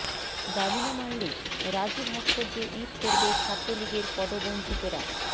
দাবি না মানলে রাজু ভাস্কর্যে ঈদ করবে ছাত্রলীগের পদবঞ্চিতরা